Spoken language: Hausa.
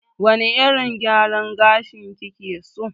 Wane irin gyaran gashi kike so?